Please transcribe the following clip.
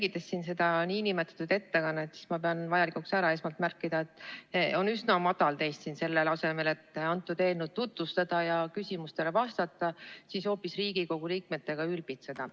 Olles jälginud seda nn ettekannet, ma pean vajalikuks esmalt ära märkida, et teist on üsna madal siin selle asemel, et eelnõu tutvustada ja küsimustele vastata, hoopis Riigikogu liikmetega ülbitseda.